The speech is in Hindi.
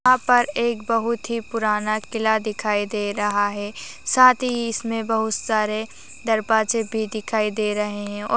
यहा पर एक बहुत ही पुराना किल्ला दिखाई दे रहा है साथी ही इसमे बहुत ही दरबाजे भी दिखाई दे रहे ह और--